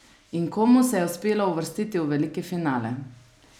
In komu se je uspelo uvrstiti v veliki finale?